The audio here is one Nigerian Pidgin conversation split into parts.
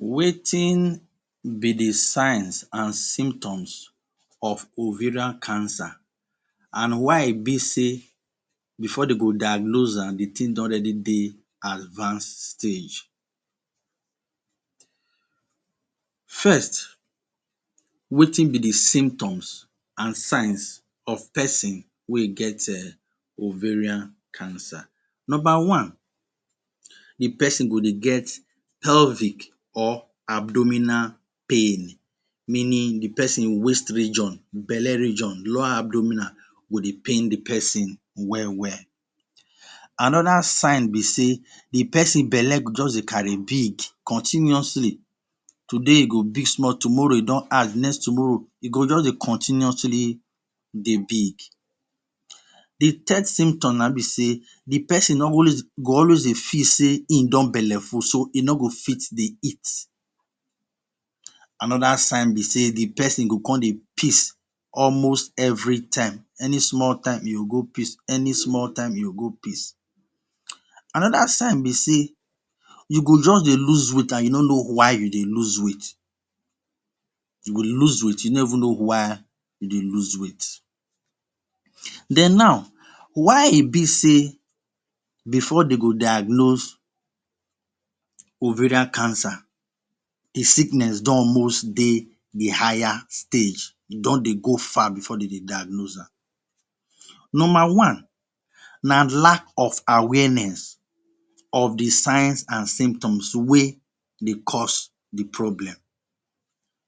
Wetin be the signs an symptoms of ovarian cancer, an why e be sey before dey go diagnose am, the tin don already dey advanced stage? First, wetin be the symptoms an signs of peson wey get um ovarian cancer? Nomba one, the peson go dey get pelvic or abdominal pain meaning the peson waist region, belle region, low abdominal go dey pain the peson well well. Another sign be sey the peson belle go juz dey carry big continuously. Today, e go big small, tomorrow, e don add, next tomorrow, go juz dey continuously dey big. The third symptom na ein be sey the peson go always dey feel sey ein don belle full so e no go fit dey eat. Another sign be sey the peson go con dey piss almost every time. Any small time, e go go piss. Any small time, e go go piss. Another sign be sey you go juz dey lose weight an you no know why you dey lose weight. You go dey lose weight you no even know why you dey lose weight. Then now, why e be sey before de go diagnose ovarian cancer, the sickness don almost dey the higher stage e don dey go far before de dey diagnose am? Nomba one na lack of awareness of the signs and symptoms wey dey cause the problem.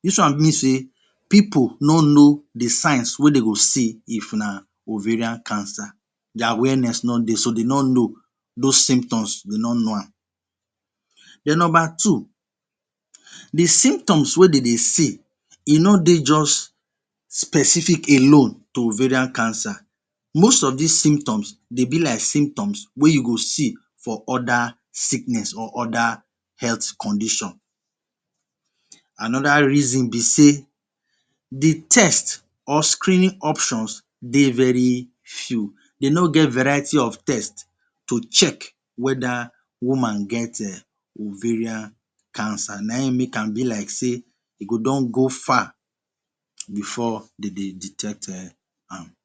Dis one mean sey pipu no know the signs wey de go see if na ovarian cancer. The awareness no dey so de no know. Dos symptoms, de no know am. Then nomba two, the symptoms wey de dey see, e no dey juz specific alone to ovarian cancer. Most of dis symptoms dey be like symptoms wey you go see for other sickness or other health condition. Another reason be sey the test or screening options dey very few. De no get variety of test to check whether woman get um ovarian cancer. Na ein make am be like sey e go don go far before de dey detect um am.